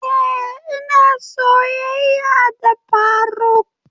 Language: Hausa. Eh ina soyayya da faruk.